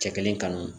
Cɛ kelen kanu